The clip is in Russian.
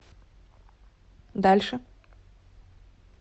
дальше